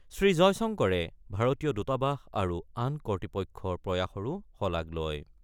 শ্ৰীজয়শংকৰে ভাৰতীয় দূতাবাস আৰু আন কৰ্তৃপক্ষৰ প্ৰয়াসৰো শলাগ লয়।